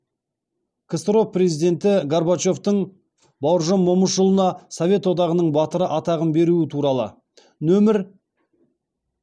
ксро президенті горбачевтың бауыржан момышұлына совет одағының батыры атағын беруі туралы нөмір